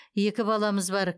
екі баламыз бар